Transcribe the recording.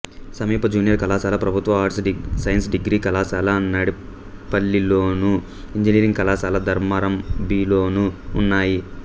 సమీప జూనియర్ కళాశాల ప్రభుత్వ ఆర్ట్స్ సైన్స్ డిగ్రీ కళాశాల నడిపల్లిలోను ఇంజనీరింగ్ కళాశాల ధర్మారం బిలోనూ ఉన్నాయి